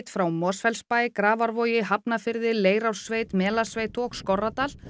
frá Mosfellsbæ Grafarvogi Hafnarfirði Leirársveit Melasveit og Skorradal